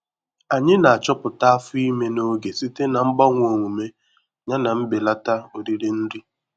Anyị na-achọpụta afọ ime n'oge site na mgbanwe omume yana mbelata oriri nri.